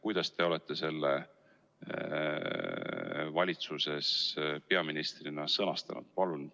Kuidas te olete selle valitsuses peaministrina sõnastanud?